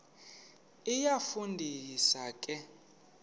iyafu ndisa ke